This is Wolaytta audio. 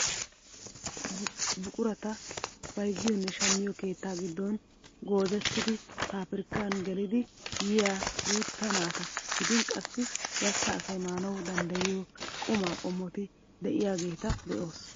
Buqurata bayzziyoonne shammiyoo keettaa giddon goozettidi pabirkkan gelidi yiyaa guutta naata gidin qassi gastta asay maanawu danddayiyoo qumaa qomotti de'iyaageta be'oos.